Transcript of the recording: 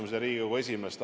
Ma tänan ka Riigikogu esimeest.